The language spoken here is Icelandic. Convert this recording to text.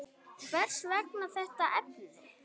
Hvers vegna þetta efni?